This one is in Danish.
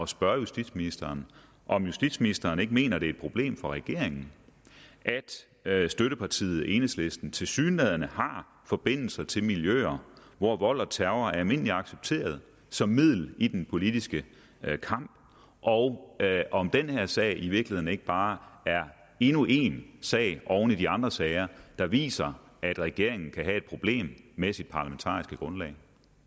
spørge justitsministeren om justitsministeren ikke mener det er et problem for regeringen at støttepartiet enhedslisten tilsyneladende har forbindelser til miljøer hvor vold og terror er almindeligt accepteret som middel i den politiske kamp og om den her sag i virkeligheden ikke bare er endnu en sag oven i de andre sager der viser at regeringen kan have et problem med sit parlamentariske grundlag